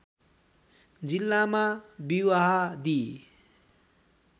जिल्लामा विवाहादी